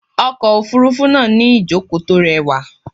Okọ̀ òfúrúfú náà ní ìjókòó tó rẹwà.